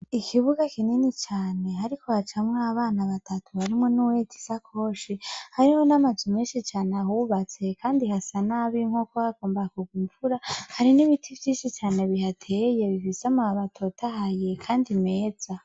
Ikibuga kinini cane hariko hacamw'abana batatu harimwo n'uwuhetse isakoshi, hariho n'amazu menshi cane ahubatse, kandi hasa nabi nkuko hagomba kurw'imvura, Hari n'ibiti vyinshi cane bihateye vy'amababi atotahaye kandi meza.